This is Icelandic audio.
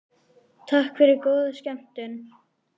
Takk fyrir og góða skemmtun.